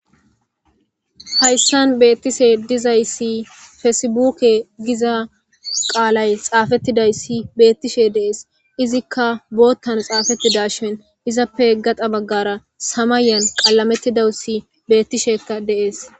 hayssan beettishe dizayssi feesebuke giza qaalay xaafettidayssi beettishe deees izikka boottan xaafettida shin izappe gaxa baggara samayan qalamettidassi beettishekka deees